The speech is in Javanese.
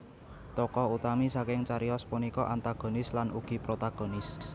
Tokoh utami saking cariyos punika antagonis lan ugi protagonis